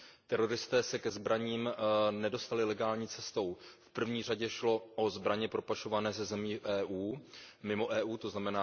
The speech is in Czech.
Teroristé se ke zbraním nedostali legální cestou, v první řadě šlo o zbraně propašované ze zemí mimo EU, tzn.